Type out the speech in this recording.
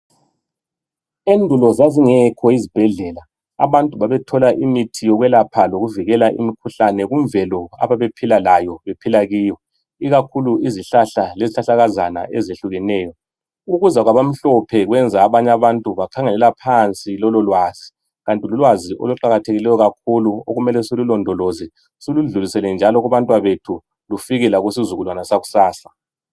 Endulo zazingekho izibhedlela. Abantu babethola imithi yokwekapha ,lokuvikela imikhuhlane kumvelo ababephila layo. Bephila kiyo. lkakhulu izihlahla, lezihlahlakazana , ezehlukeneyo. Ukuza kwabamhlophe kwenza abanye abantu bakhangelela phansi lololwazi,. Kanti lulwazi oluqakathekileyo kakhulu. Okumele silulondoloze. Siludlulisele njalo kubantwabethu. Lufike njalo kusizukulwane sakusasa.